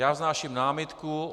Já vznáším námitku.